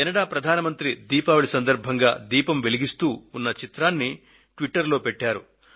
Canada ప్రధాని దీపావళి సందర్భంగా దీపం వెలిగిస్తూ ఉన్న చిత్రాన్ని ట్విటర్ లో పెట్టారు